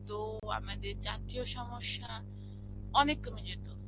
তো আমাদের জাতীয় সমস্যা অনেক কমে যেতো.